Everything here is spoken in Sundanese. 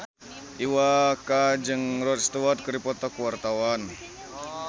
Iwa K jeung Rod Stewart keur dipoto ku wartawan